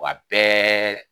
a bɛɛ